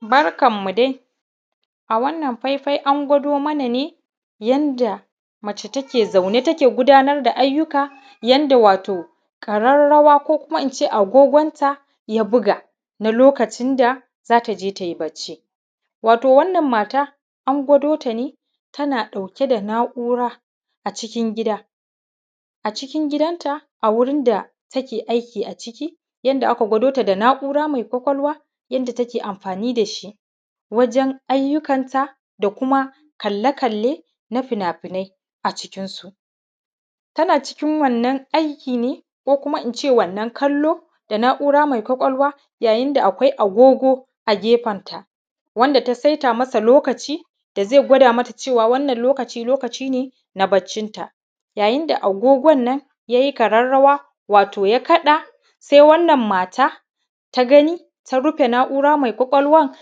Barkanmu dai wato a wannan faifai an gwado mana ne yadda mace take zaune take gudanar da ayyuka wato ƙararrawa ko Kuma in ce yadda agogonta ya buga lokacin da za ta je ta yi bacci, wato wannan mata an gwado ta ne tana ɗauke da na'ura a cikin gida, a cikin gidanta a wurin da take aiki ciki yadda aka gwado ta na'ura mai ƙwaƙwalwa yadda take amfani da shi wajen ayyukanta da Kuma kalle -kalle na fina-finai a cikinsu. Tana cikin wannan aiki ne da na'ura mai ƙwaƙwalwa yayin da akwai agogo a gefensa inda ta saita lokacin da zai gwada mata wannan lokaci ne na baccinta. Yayin da agogon nan ya yi ƙararrawa wato ya kaɗa sai wannan mata ta rufe na'ura mai ƙwaƙwalwan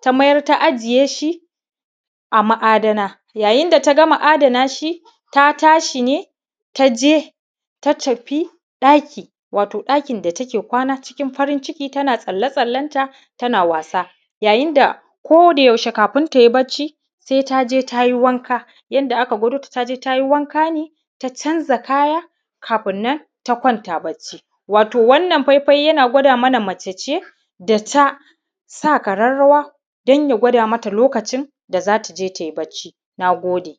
ta mayar ta ajiye shi a ma'adana, yayin da ta adana shi, ta tashi ne ta je ta tafi ɗakin wato ɗakin da take kwana ciki farin ciki tana tsale-tsalenta tana wasa, yayin da ko da yaushe kafin ta yi bacci sai ta je ta yi wanka inda aka gwado ta ta je ta yi wanka ne ta canza kayan kafin nan ta kwanta bacci. Wato wannan faifai yana gwada mana mace ce da ta sa ƙararrawa don ya gwada mata lokacin da za ta je ta yi bacci. Na gode